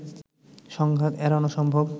সংঘাত এড়ানো সম্ভব